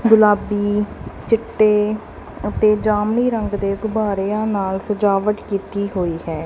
ਗੁਲਾਬੀ ਚਿੱਟੇ ਅਤੇ ਜਾਮਨੀ ਰੰਗ ਦੇ ਗੁਬਾਰੇਆਂ ਨਾਲ ਸਜਾਵਟ ਕੀਤੀ ਹੋਈ ਹੈ।